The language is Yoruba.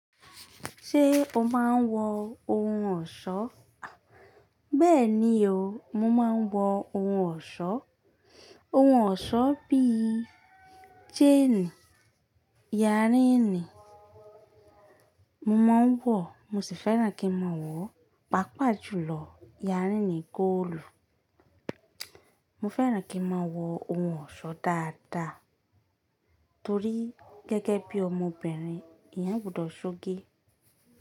Ṣé o máa ń wọ ohun ọ̀ṣọ́? Béèni o, mo máa ń wọ ohun ọ̀ṣọ́. Ohun ọ̀ṣọ́ bí i chaini, yàrinì mo máa ń wọ̀, mo sì fẹ́ràn kí n máa wọ̀, pàápàá jùlọ yàrinì góòlù. Mo fẹ́ràn kí n máa wọ ohun ọ̀ṣọ́ dáadáa torí gẹ́gẹ́ bí ọmọbìnrin, eeynn gbudọ̀ sóge.